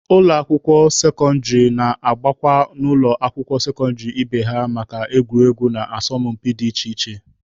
Ụlọ akwụkwọ sekọndịrị na-agakwa n'ụlọ akwụkwọ sekọndịrị ibe ha maka egwuregwu na asọmpi dị iche iche.